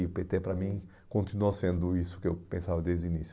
E o pê tê, para mim, continuou sendo isso que eu pensava desde o início.